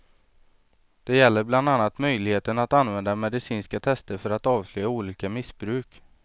Det gäller bland annat möjligheten att använda medicinska tester för att avslöja olika missbruk.